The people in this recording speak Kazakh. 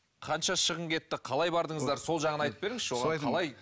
қанша шығын кетті қалай бардыңыздар сол жағын айтып беріңізші оған қалай